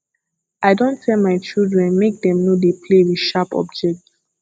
i don tell my children make dem no dey play with sharp objects